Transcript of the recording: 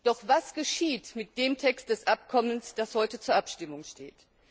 Doch was geschieht mit dem Text des Abkommens, das heute zur Abstimmung steht?